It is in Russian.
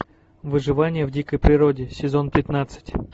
выживание в дикой природе сезон пятнадцать